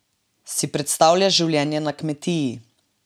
Si predstavljaš življenje na kmetiji?